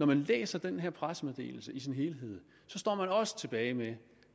man læser den her pressemeddelelse i sin helhed står man også tilbage med